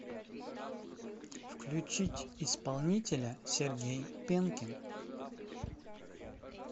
включить исполнителя сергей пенкин